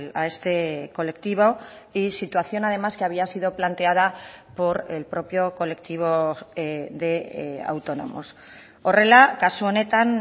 a este colectivo y situación además que había sido planteada por el propio colectivo de autónomos horrela kasu honetan